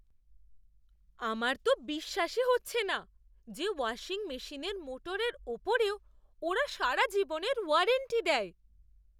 আমার তো বিশ্বাসই হচ্ছে না যে ওয়াশিং মেশিনের মোটরের উপরেও ওরা সারা জীবনের ওয়ারেন্টি দেয়!